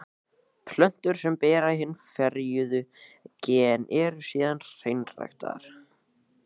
Plöntur sem bera hin ferjuðu gen eru síðan hreinræktaðar.